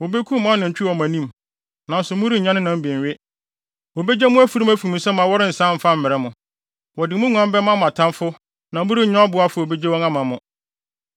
Wobekum mo nantwi wɔ mo anim, nanso morennya ne nam bi nwe. Wobegye mo afurum afi mo nsam a wɔrensan mfa mmrɛ mo. Wɔde mo nguan bɛma mo atamfo na morennya ɔboafo a obegye wɔn ama mo.